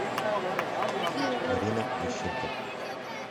марина мищенко